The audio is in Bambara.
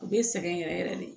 U bɛ sɛgɛn yɛrɛ yɛrɛ de